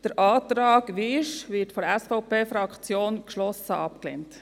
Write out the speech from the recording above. Der Antrag Wyrsch wird von der SVP-Fraktion geschlossen abgelehnt.